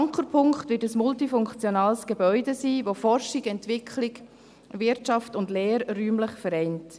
Ankerpunkt wird ein multifunktionales Gebäude sein, welches Forschung, Entwicklung, Wirtschaft und Lehre räumlich vereint.